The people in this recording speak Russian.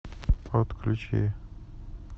подключи